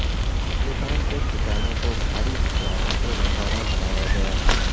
طالبان کے ٹھکانوں کو بھاری ہتھیاروں سے نشانہ بنایا گیا